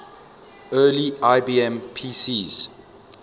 early ibm pcs